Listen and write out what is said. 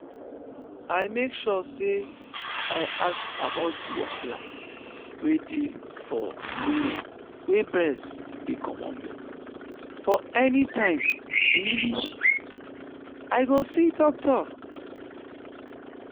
i make sure say i ask about the wahala wey dey for women wey breast dey comot milk for anytime really i go see doctor.